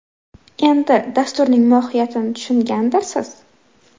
Endi dasturning mohiyatini tushungandirsiz.